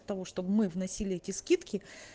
того чтобы мы вносили эти скидки